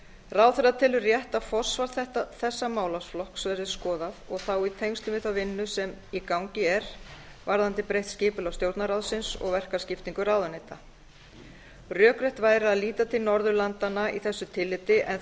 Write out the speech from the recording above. ráðherra telur rétt að forsvar þessa málaflokks verði skoðað og þá í tengslum við þá vinnu sem í gangi er varðandi breytt skipulag stjórnarráðsins og verkaskiptingu ráðuneyta rökrétt væri að líta til norðurlandanna í þessu tilliti en